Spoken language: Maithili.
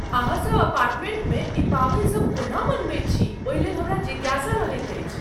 अहाँसभ अपार्टमेंटमे ई पावनि सभ कोना मनबैत छी ओहि लेल हमरा जिज्ञासा रहैत अछि।